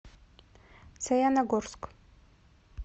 саяногорск